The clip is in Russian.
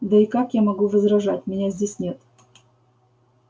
да и как я могу возражать меня здесь нет